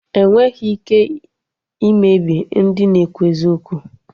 Enweghị ike imebi ndị na-ekwu eziokwu